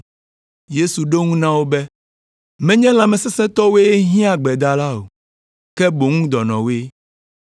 Yesu ɖo eŋu na wo be, “Menye lãmesesẽtɔwoe hiã gbedala o, ke boŋ dɔnɔwoe.